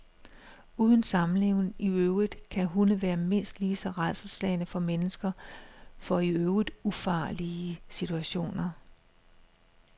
Uden sammenligning i øvrigt kan hunde være mindst lige så rædselsslagne som mennesker for i øvrigt ufarlige situationer.